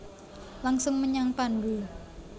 Langsung menyang pandhu